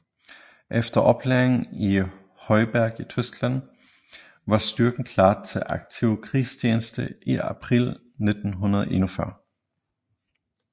Efter oplæring i Heuberg i Tyskland var styrken klar til aktiv krigstjeneste i april 1941